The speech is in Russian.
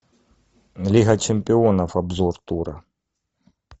лига чемпионов обзор тура